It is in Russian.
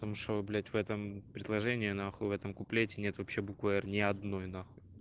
потому что блять в этом предложении нахуй в этом куплете нет вообще буквы р ни одной нахуй